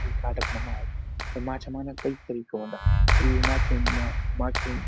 गाड़ा फुंडा मार माछा मरनक कई तरीका हुँदा यु माछौ मा माछे --